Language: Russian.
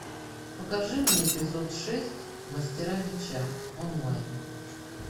покажи мне эпизод шесть мастера меча онлайн